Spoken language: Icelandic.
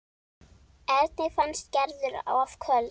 Erni fannst Gerður of köld.